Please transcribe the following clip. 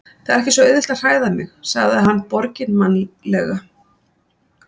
Það er ekki svo auðvelt að hræða mig- sagði hann borginmannlega.